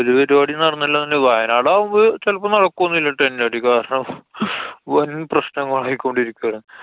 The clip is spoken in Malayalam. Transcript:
ഒരു പരിപാടീം നടന്നില്ലാന്നുണ്ടെങ്കില്, വയനാടാവുമ്പോ ചെലപ്പോ നടക്കൊന്നുല്ലാ. tent അടി. കാരണം വന്‍ പ്രശ്നമായിക്കൊണ്ടിരിക്കാണ്.